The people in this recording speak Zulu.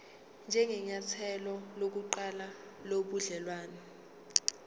njengenyathelo lokuqala lobudelwane